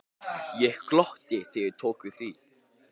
Ég glotti þegar ég tók við því.